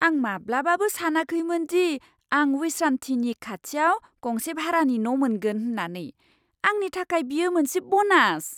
आं माब्लाबाबो सानाखैमोन दि आं विश्रानथिनि खाथियाव गंसे भारानि न' मोनगोन होन्नानै। आंनि थाखाय बेयो मोनसे ब'नास!